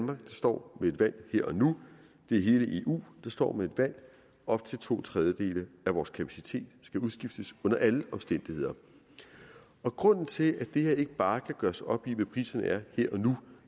der står med et valg her og nu det er hele eu der står med et valg op til to tredjedele af vores kapacitet skal udskiftes under alle omstændigheder grunden til at det her ikke bare kan gøres op i hvad priserne er her og nu